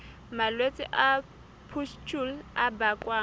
malwetse a pustule a bakwang